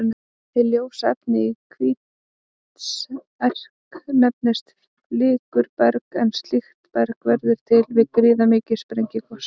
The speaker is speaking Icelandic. Hið ljósa efni í Hvítserk nefnist flikruberg en slíkt berg verður til við gríðarmikil sprengigos.